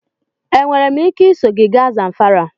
Enwere m ike iso gị gaa Zamfara?